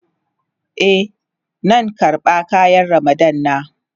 Eh, nan karba kayan Ramadan na.